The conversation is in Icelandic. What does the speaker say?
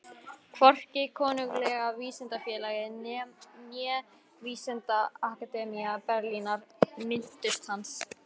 Hvorki Konunglega vísindafélagið né Vísindaakademía Berlínar minntust hans.